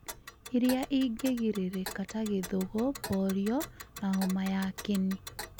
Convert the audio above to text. ĩrĩa ĩngĩgirĩrĩka ta gĩthũgũ, polio, na homa ya kĩni.